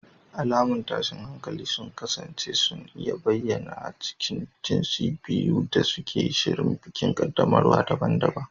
Alamun tashin hankali sun kasance suna iya bayyana a tsakanin jinsin biyu yayin da suke shirin bikin qaddamarwa daban-daban.